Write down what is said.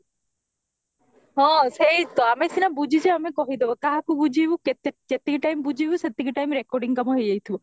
ଆହନ ସେଇତ ଆମେ ସିନା ବୁଝିଚେ ଆମେ କହିଦବା କାହାକୁ ବୁଝେଇବୁ କେତି କେତିକି time ବୁଝେଇବୁ ସେତିକି time recording କାମ ହେଇଯାଇଥିବା